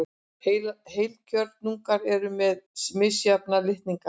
Heilkjörnungar eru með mismarga litninga.